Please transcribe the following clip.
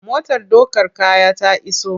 Motar ɗaukar kaya ta iso.